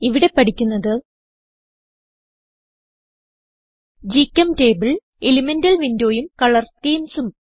ഇവിടെ പഠിക്കുന്നത് ഗ്ചെംറ്റബിൾ എലിമെന്റൽ windowഉം കളർ schemesഉം